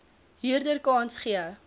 huurder kans gee